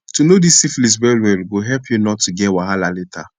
to know this syphilis well well go help you not to get wahala later